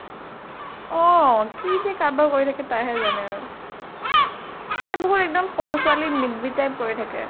অʼ কি যে কাৰবাৰ কৰি থাকে তাইয়ে জানে। তাই বহুত এক্দম সৰু ছোৱালী নি বি কৰি থাকে।